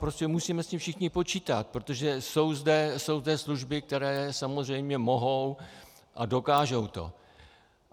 Prostě musíme s tím všichni počítat, protože jsou zde služby, které samozřejmě mohou a dokážou to.